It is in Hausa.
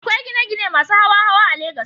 Akwai gine-gine masu hawa-hawa a Legas.